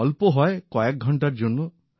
তাও অল্প হয় কয়েক ঘণ্টার জন্য